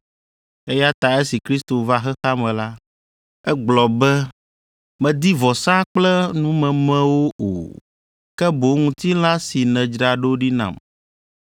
Eya ta esi Kristo va xexea me la, egblɔ be: “Mèdi vɔsa kple numemewo o, ke boŋ ŋutilã si nèdzra ɖo ɖi nam;